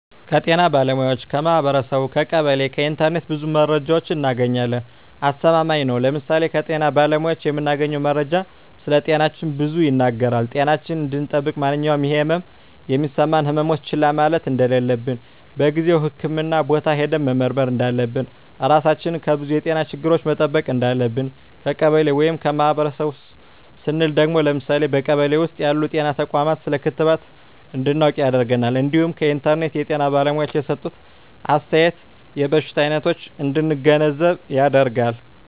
ከጤና ባለሙያዎች ,ከማህበረሰቡ , ከቀበሌ ,ከኢንተርኔት ብዙ መረጃ እናገኛለን። አስተማማኝ ነው ለምሳሌ ከጤና ባለሙያዎች የምናገኘው መረጃ ስለጤናችን ብዙ ይናገራል ጤናችን እንድጠብቅ ማንኛውም የህመም የሚሰማን ህመሞች ችላ ማለት እንደለለብን በጊዜው ህክምህና ቦታ ሄደን መመርመር እንዳለብን, ራሳችን ከብዙ የጤና ችግሮች መጠበቅ እንዳለብን። ከቀበሌ ወይም ከማህበረሰቡ ስንል ደግሞ ለምሳሌ በቀበሌ ውስጥ ያሉ ጤና ተቋማት ስለ ክትባት እንድናውቅ ያደርገናል እንዲሁም ከኢንተርኔት የጤና ባለሙያዎች የሰጡትን አስተያየት የበሽታ አይነቶች እንድንገነዘብ ያደርጋል።